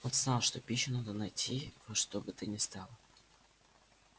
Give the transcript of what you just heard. он знал что пищу надо найти во что бы то ни стало